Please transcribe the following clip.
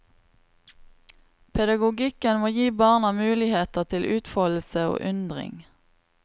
Pedagogikken må gi barna muligheter til utfoldelse og undring.